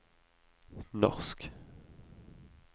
norsk